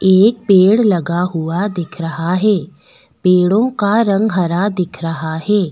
एक पेड़ लगा हुआ दिख रहा है पेड़ों का रंग हरा दिख रहा है।